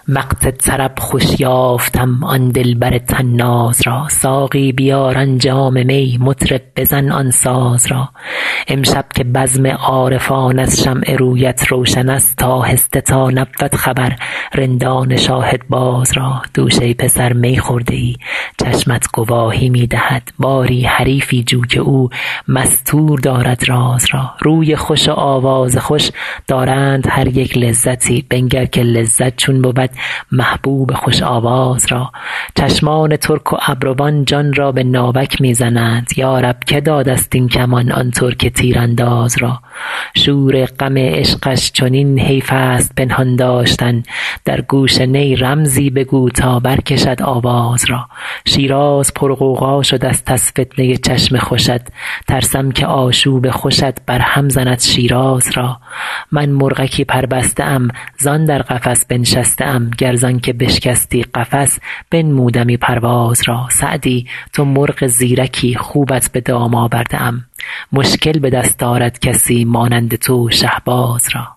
وقت طرب خوش یافتم آن دلبر طناز را ساقی بیار آن جام می مطرب بزن آن ساز را امشب که بزم عارفان از شمع رویت روشن است آهسته تا نبود خبر رندان شاهدباز را دوش ای پسر می خورده ای چشمت گواهی می دهد باری حریفی جو که او مستور دارد راز را روی خوش و آواز خوش دارند هر یک لذتی بنگر که لذت چون بود محبوب خوش آواز را چشمان ترک و ابروان جان را به ناوک می زنند یا رب که داده ست این کمان آن ترک تیرانداز را شور غم عشقش چنین حیف است پنهان داشتن در گوش نی رمزی بگو تا برکشد آواز را شیراز پرغوغا شده ست از فتنه ی چشم خوشت ترسم که آشوب خوشت برهم زند شیراز را من مرغکی پربسته ام زان در قفس بنشسته ام گر زان که بشکستی قفس بنمودمی پرواز را سعدی تو مرغ زیرکی خوبت به دام آورده ام مشکل به دست آرد کسی مانند تو شهباز را